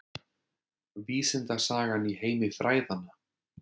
Vísindasagan í heimi fræðanna